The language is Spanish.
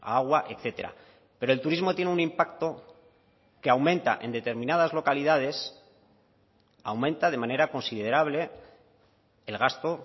agua etcétera pero el turismo tiene un impacto que aumenta en determinadas localidades aumenta de manera considerable el gasto